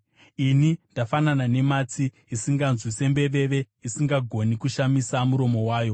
Ini ndafanana nematsi, isinganzwi, sembeveve, isingagoni kushamisa muromo wayo;